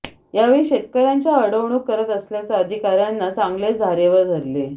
यावेळी शेतकर्यांच्या अडवणुक करत असल्याला अधिकाऱ्यांना चांगलेच धारेवर धरले